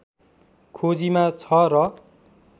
खोजीमा छ र